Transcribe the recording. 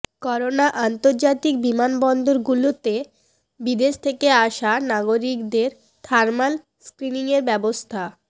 করোনাঃ আন্তর্জাতিক বিমানবন্দরগুলোতে বিদেশ থেকে আসা নাগরিকদের থার্মাল স্ক্ৰিনিঙের ব্যবস্থা